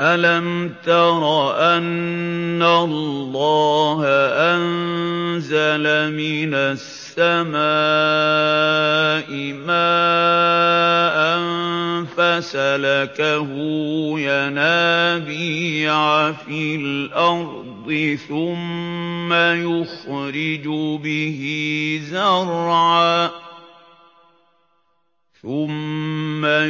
أَلَمْ تَرَ أَنَّ اللَّهَ أَنزَلَ مِنَ السَّمَاءِ مَاءً فَسَلَكَهُ يَنَابِيعَ فِي الْأَرْضِ ثُمَّ